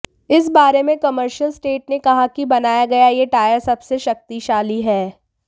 इस बारे में कामर्शियल स्टेट ने कहा कि बनाया गया यह टायर सबसे शक्तिशाली है